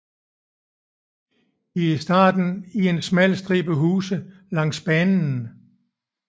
I starten i en smal stribe huse langs banen